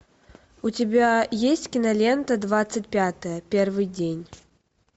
у тебя есть кинолента двадцать пятое первый день